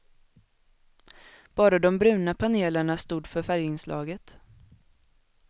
Bara de bruna panelerna stod för färginslaget.